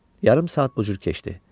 Yarım saat bu cür keçdi.